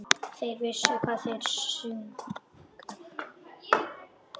Þeir vissu hvað þeir sungu.